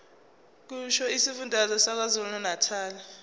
kusho isifundazwe sakwazulunatali